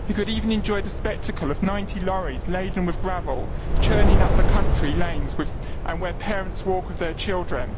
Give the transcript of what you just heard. He could even enjoy the spectacle of 90 lorries laden with gravel churning up the country lanes where parents walk with their children.